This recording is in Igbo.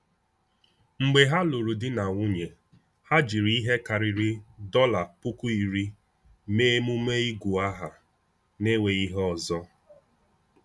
Mgbe ha lụrụ di na nwunye, ha jiri ihe karịrị $10,000 mee emume ịgụ aha n’enweghị ihe ọzọ.